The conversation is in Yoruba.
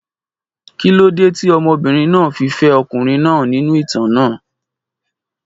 Kí ló dé tí obìnrin náà fi fẹ́ ọkùnrin náà nínú ìtàn náà?